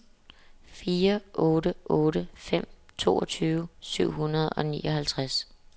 fire otte otte fem toogtyve syv hundrede og nioghalvtreds